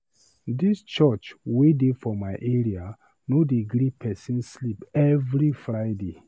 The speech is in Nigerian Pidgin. Dis church wey dey for my area no dey gree pesin sleep every Friday.